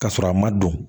Ka sɔrɔ a ma don